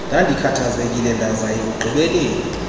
ndandikhathazekile ndaza ekugqibeleni